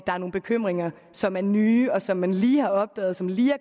er nogle bekymringer som er nye og som man lige har opdaget og som lige